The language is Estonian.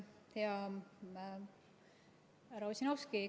Hea härra Ossinovski!